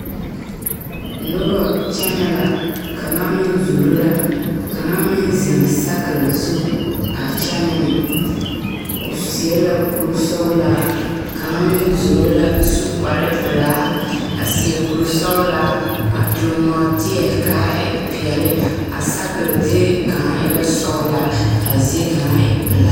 Noba kyɛnɛ la kaŋa meŋ zoro la kaŋaeŋ zeŋ sakere zu a kyɛnɛ ne o seɛ la kuri sɔgelaa kaŋa meŋ zoro lavsu kpar pelaa a seɛ kuri sɔgelaa a tuŋ nɔɔtievkaa e peɛle a sakere zie kaŋa e lavsɔglaa kaa zie kaŋa e pelaa